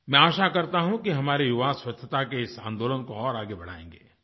मैं आशा करता हूँ कि हमारे युवा स्वच्छता के इस आन्दोलन को और आगे बढ़ाएँगे